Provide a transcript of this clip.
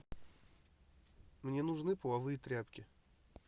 мне нужны половые тряпки